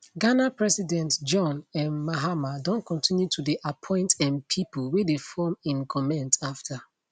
ghana president john um mahama don continue to dey appoint um pipo wey dey form im goment afta